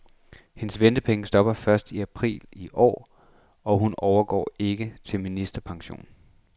Hendes ventepenge stopper første april i år, og hun overgår ikke til ministerpension.